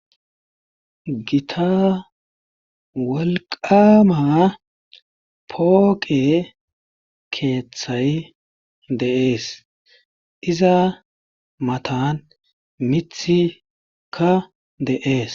Gita wolqqaama pooqe keethay de7ees iza matan mithikka de7ees.